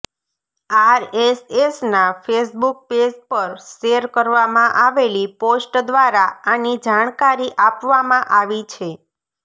આરએસએસના Facebook page પર share કરવામાં આવેલી પોસ્ટ દ્વારા આની જાણકારી આપવામાં આવી છે